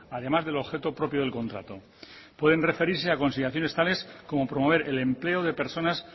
además del objeto propio del contrato pueden referirse a consideraciones tales como promover el empleo de personas